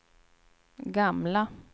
gamla